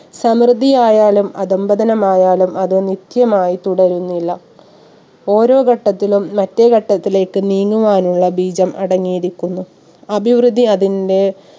സമൃദ്ധിയായാലും അധംപതനമായാലും അത് നിത്യമായി തുടരുന്നില്ല. ഓരോ ഘട്ടത്തിലും മറ്റേ ഘട്ടത്തിലേക്ക് നീങ്ങുവാനുള്ള ബീജം അടങ്ങിയിരിക്കുന്നു. അഭിവൃദ്ധി അതിന്റെ